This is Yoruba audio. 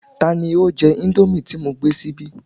Tani o jẹ indomie ti mo gbé síbí?